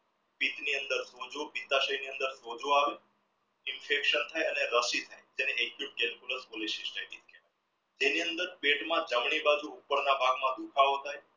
સોજો આવે infection થાય તેની અંદર પેટમાં જમણી બાજુ ઉપરના ભાગમાં દુખાવો થાય